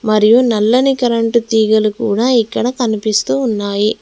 మరియు నల్లని కరెంటు తీగలు కూడా ఇక్కడ కనిపిస్తూ ఉన్నాయి.